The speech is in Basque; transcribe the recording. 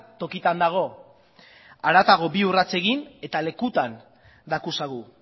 tokitan dago haratago bi urrats egin eta lekutan dakuzagu